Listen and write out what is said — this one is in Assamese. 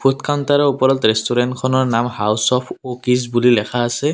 কাউন্তাৰৰ ওপৰত ৰেষ্টোৰেণ্টখনৰ নাম হাউচ অফ ৱকিছ বুলি লেখা আছে।